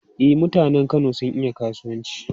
E, mutanen Kano sun iya kasuwanci.